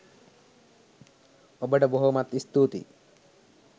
ඔබ්ට බොහෝමත් ස්තූතියි.